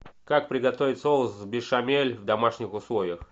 как приготовить соус бешамель в домашних условиях